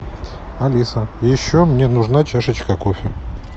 алиса еще мне нужна чашечка кофе